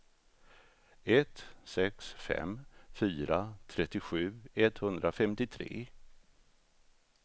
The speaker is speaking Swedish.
ett sex fem fyra trettiosju etthundrafemtiotre